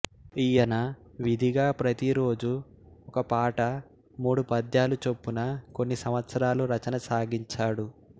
ఈయన విధిగా ప్రతిరోజు ఒక పాట మూడు పద్యాలు చొప్పున కొన్ని సంవత్సరాలు రచన సాగించాడు